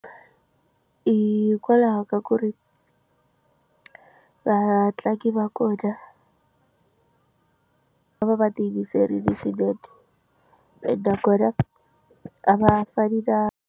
Hikwalaho ka ku ri vatlangi va kona va va va ti yimiserile swinene ene nakona a va fani na.